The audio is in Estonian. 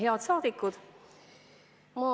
Head saadikud!